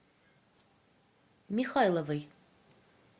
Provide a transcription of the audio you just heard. михайловой